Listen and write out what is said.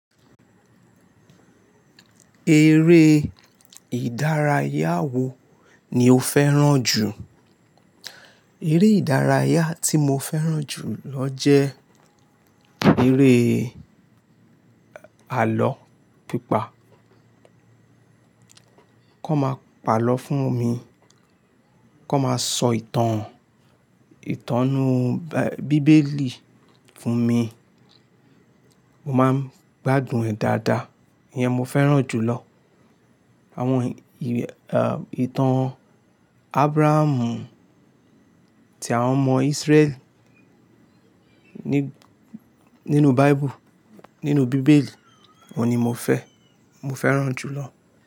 Eré ìdárayá wo ni o fẹ́ràn jù? Eré ìdárayá tí mo fẹ́ràn jù lọ jẹ́ eré àlọ́ pípa. Kó máa pàlọ́ fún mi, kó máa sọ ìtàn, ìtànú Bíbélì fún mi, mo máa ń gbádùn ẹ̀ dáadáa. Iyẹn mo fẹ́ràn jù lọ. Àwọn ì, àwọn ìtàn Ábúráhámù tí àwọn ọmọ Ísírẹ́lì ní, nínú Báíbù, nínú Bíbélì, òun ni mo fẹ́, mo fẹ́ràn jù lọ.